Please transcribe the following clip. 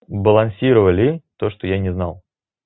болонсировали то что я не знал